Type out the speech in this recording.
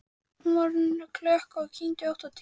Hún var orðin klökk og kyngdi ótt og títt.